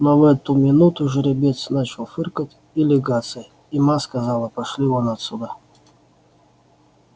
но в эту минуту жеребец начал фыркать и лягаться и ма сказала пошли вон отсюда